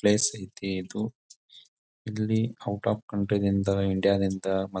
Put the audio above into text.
place ಐತಿ ಇದು ಇಲ್ಲಿ ಔಟ್ ಆಫ್ ಕಂಟ್ರಿ ದಿಂದ ಇಂಡಿಯಾ ದಿಂದ ಮತ್ತ್ --